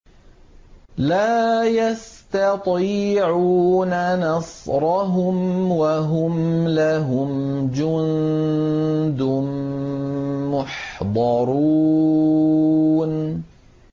لَا يَسْتَطِيعُونَ نَصْرَهُمْ وَهُمْ لَهُمْ جُندٌ مُّحْضَرُونَ